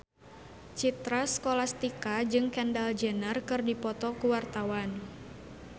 Citra Scholastika jeung Kendall Jenner keur dipoto ku wartawan